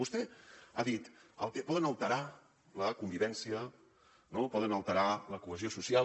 vostè ha dit poden alterar la convivència no poden alterar la cohesió social